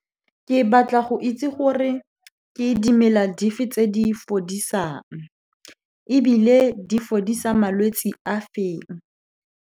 Ke batla go itse gore ke dimela dife tse di fodisang, ebile di fodisa malwetse a feng.